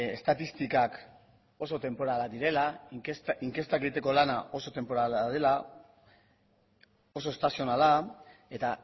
estatistikak oso tenporalak direla inkestak egiteko lana oso tenporala dela oso estazionala eta